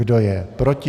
Kdo je proti?